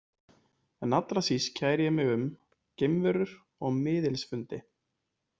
En allra síst kæri ég mig um geimverur og miðilsfundi.